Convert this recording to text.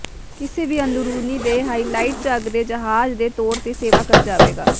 ਕਿਸੇ ਵੀ ਅੰਦਰੂਨੀ ਦੇ ਹਾਈਲਾਈਟ ਝੱਗ ਦੇ ਜਹਾਜ਼ ਦੇ ਤੌਰ ਤੇ ਸੇਵਾ ਕਰ ਜਾਵੇਗਾ